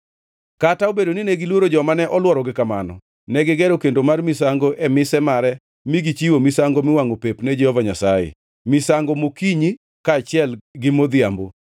Kata obedo nine giluoro joma ne olworogi kamano, negigero kendo mar misango e mise mare mi gichiwo misango miwangʼo pep ne Jehova Nyasaye, misango mokinyi kaachiel gi modhiambo.